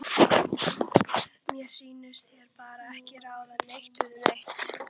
Mér sýnist þeir bara ekki ráða neitt við neitt.